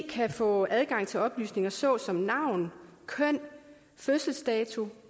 kan få adgang til oplysninger såsom navn køn fødselsdato